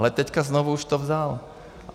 Ale teďka znovu už to vzal.